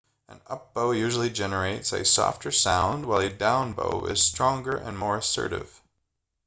an up-bow usually generates a softer sound while a down-bow is stronger and more assertive